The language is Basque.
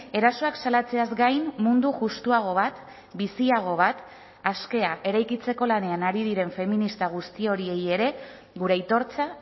erasoak salatzeaz gain mundu justuago bat biziago bat askea eraikitzeko lanean ari diren feminista guzti horiei ere gure aitortza